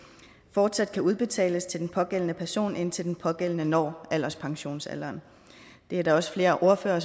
fortsat kan udbetales til den pågældende person indtil den pågældende når alderspensionsalderen det er der også flere ordførere